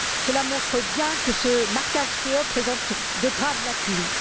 Ces fraudes montrent bien que ce marquage présente de graves lacunes.